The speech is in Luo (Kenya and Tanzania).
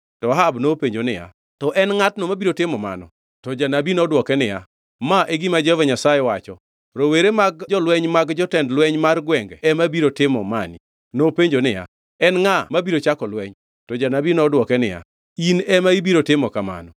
To Ahab nopenjo niya, “To en ngʼatno mabiro timo mano?” To janabi nodwoke niya, “Ma e gima Jehova Nyasaye wacho: ‘Rowere ma jolweny mag jotend lweny mar gwenge ema biro timo mani.’ ” Nopenjo niya, “En ngʼa mabiro chako lweny?” To janabi nodwoke niya, “In ema ibiro timo kamano.”